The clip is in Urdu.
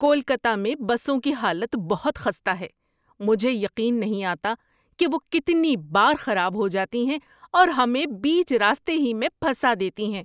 کولکتہ میں بسوں کی حالت بہت خستہ ہے! مجھے یقین نہیں آتا کہ وہ کتنی بار خراب ہو جاتی ہیں اور ہمیں بیچ راستے ہی میں پھنسا دیتی ہیں۔